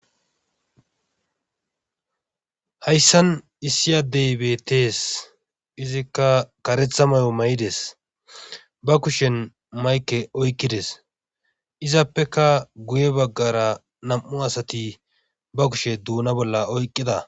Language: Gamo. Hayssan issi addey beettees izikka kareetha mayo mayides ba kushen mayke oykkides izappeka guye baggara nam7u asati ba kushe duuna bolla oyqqida.